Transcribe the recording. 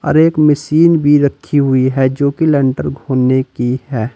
और एक मशीन भी रखी हुई है जो लेंटर की है।